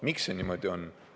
Miks see niimoodi on?